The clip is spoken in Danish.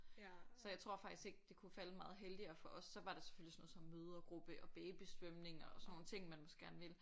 Så jeg tror faktisk ikke det kunne falde meget heldigere for os så var der selvfølgelig sådan noget som mødregruppe og babysvømning og sådan nogle ting som man måske gerne vil